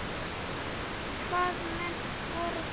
Hvaða menn voru það?